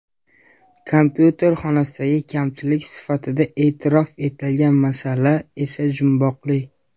Kompyuter xonasidagi kamchilik sifatida e’tirof etilgan masala esa jumboqli.